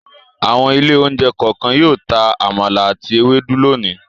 Àwọn ilé-oúnjẹ kọ̀ọ̀kan yóò ta àmàlà àti ewédú lónìí.